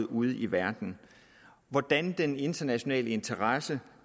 ude i verden hvordan den internationale interesse